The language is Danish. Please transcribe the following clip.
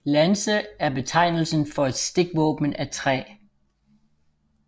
Lanse er betegnelsen for et stikvåben af træ